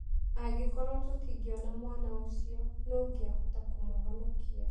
Angĩkorũo tũtingĩona mwana ũcio, nũũ ũngĩahota kũmũhonokia?